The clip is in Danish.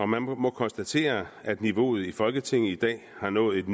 man må må konstatere at niveauet i folketinget i dag har nået et